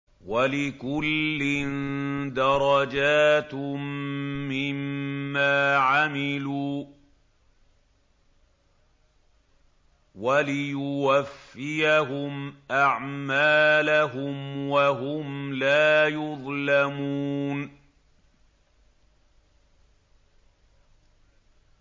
وَلِكُلٍّ دَرَجَاتٌ مِّمَّا عَمِلُوا ۖ وَلِيُوَفِّيَهُمْ أَعْمَالَهُمْ وَهُمْ لَا يُظْلَمُونَ